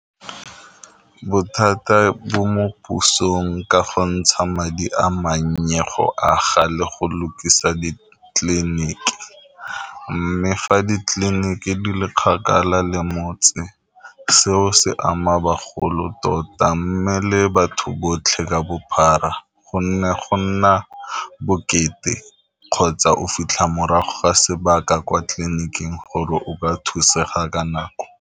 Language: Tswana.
Bothata bo mo pusong ka go ntsha madi a manye go aga le go lukisa ditleliniki, mme fa ditleliniki di le kgakala le motse seo se ama bagolo tota, mme le batho botlhe ka bophara go nne go nna bokete kgotsa o fitlha morago ga sebaka kwa tleliniking gore o ka thusega ka nako.